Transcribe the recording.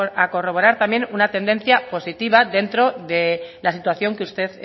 a corroborar también una tendencia positiva dentro de la situación que usted